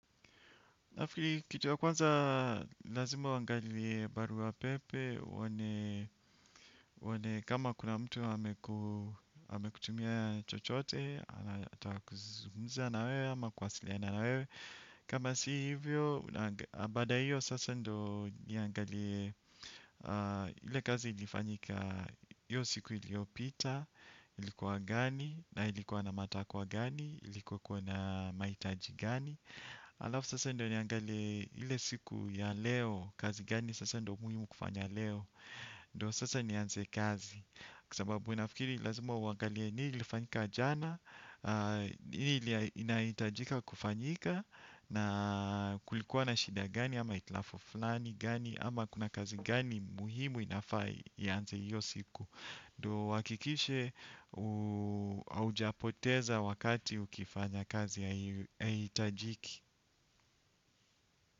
Nafikiri kitu ya kwanza, lazima uangalie barua pepe, uone kama kuna mtu amekutumia chochote, anataka kuzungumza na wewe, ama kuwasiliana na wewe. Kama si hivyo, baada ya hiyo sasa ndio niangalie, ile kazi ilifanyika hiyo siku iliopita, ilikuwa gani, na ilikuwa na matakwa gani, ilikuwa na mahitaji gani. Alafu sasa ndo niangale ile siku ya leo kazi gani sasa ndio muhimu kufanya leo. Ndio sasa nianze kazi. Kwa sababu nafikiri lazima uangalie nini ilifanyika jana. Ni ili inahitajika kufanyika, na kulikuwa na shida gani ama hitilafu fulani gani ama kuna kazi gani muhimu inafaa ianze hiyo siku. Ndio uhakikishe haujapoteza wakati ukifanya kazi haihitajiki.